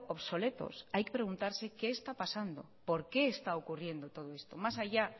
obsoletos hay que preguntarse qué está pasando por qué está ocurriendo todo esto más allá